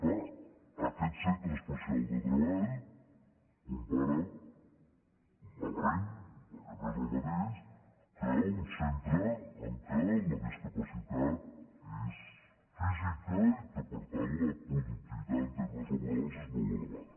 clar aquest centre especial de treball es compara malament perquè noés el mateix amb un centre en què la discapacitat és física i en què per tant la productivitat en termes la·borals és molt elevada